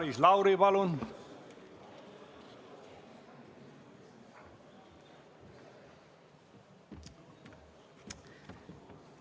Maris Lauri, palun!